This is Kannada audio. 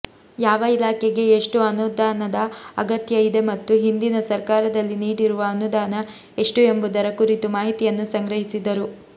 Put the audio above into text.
ಯಾವ ಇಲಾಖೆಗೆ ಎಷ್ಟುಅನುದಾನದ ಅಗತ್ಯ ಇದೆ ಮತ್ತು ಹಿಂದಿನ ಸರ್ಕಾರದಲ್ಲಿ ನೀಡಿರುವ ಅನುದಾನ ಎಷ್ಟುಎಂಬುದರ ಕುರಿತು ಮಾಹಿತಿಯನ್ನು ಸಂಗ್ರಹಿಸಿದರು